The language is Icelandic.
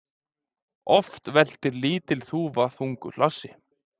Oft veltir lítil þúfa þungu hlassi.